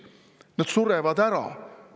Nad surevad ära!